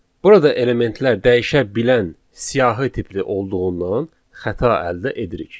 Burada elementlər dəyişə bilən siyahı tipli olduğundan xəta əldə edirik.